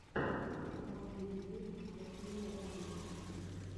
последний выпуск василия оленича